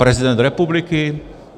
Prezident republiky?